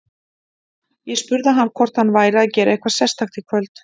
Ég spurði hann hvort hann væri að gera eitthvað sérstakt í kvöld.